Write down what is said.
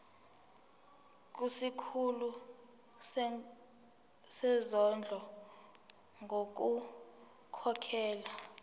kusikhulu sezondlo ngokukhokhela